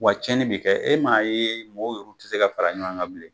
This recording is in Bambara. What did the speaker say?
Wa cɛni bi kɛ e m'a ye mɔw yɛrɛ ti se ka fara ɲɔgɔn kan bilen